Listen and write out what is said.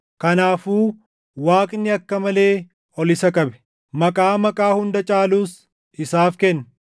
Kanaafuu Waaqni akka malee ol isa qabe; maqaa maqaa hunda caalus isaaf kenne.